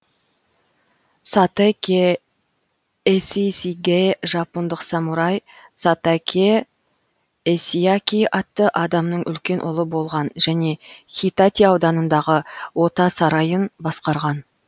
сатакэ есисигэ жапондық самурай сатакэ есиаки атты адамның үлкен ұлы болған және хитати ауданындағы ота сарайын басқарған